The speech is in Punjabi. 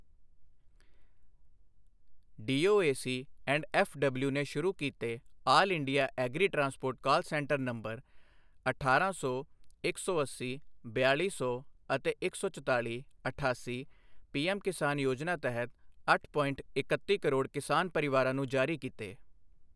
ਡੀਓਏਸੀ ਐਂਡ ਐੱਫ਼ਡਬਲਿਊ ਨੇ ਸ਼ੁਰੂ ਕੀਤੇ all India agri transport call centre number ਅਠਾਰਾਂ ਸੌ, ਇੱਕ ਸੌ ਅੱਸੀ, ਬਿਆਲੀ ਸੌ ਅਤੇ ਇੱਕ ਸੌ ਚਤਾਲੀ, ਅਠਾਸੀ ਪੀਐੱਮ ਕਿਸਾਨ ਯੋਜਨਾ ਤਹਿਤ ਅੱਠ ਪੋਇੰਟ ਇਕੱਤੀ ਕਰੋੜ ਕਿਸਾਨ ਪਰਿਵਾਰਾਂ ਨੂੰ ਜਾਰੀ ਕੀਤੇ।